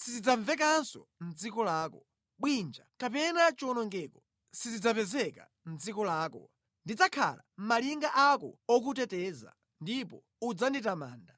sizidzamvekanso mʼdziko lako, bwinja kapena chiwonongeko sizidzapezeka mʼdziko lako, ndidzakhala malinga ako okuteteza ndipo udzanditamanda.